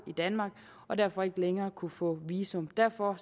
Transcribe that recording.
i danmark og derfor ikke længere kunne få visum derfor